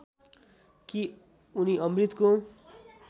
कि उनी अमृतको